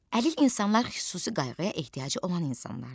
Əlil insanlar xüsusi qayğıya ehtiyacı olan insanlardır.